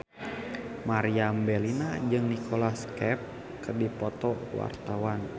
Meriam Bellina jeung Nicholas Cafe keur dipoto ku wartawan